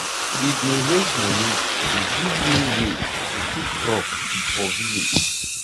we bin raise money to give new way to keep crop for village.